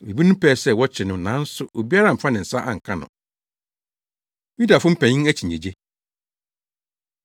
Ebinom pɛɛ sɛ wɔkyere no nanso obiara amfa ne nsa anka no. Yudafo Mpanyin Akyinnyegye